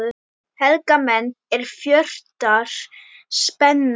Helga menn, er fjötrar spenna